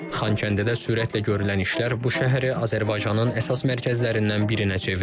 Xankəndidə sürətlə görülən işlər bu şəhəri Azərbaycanın əsas mərkəzlərindən birinə çevirib.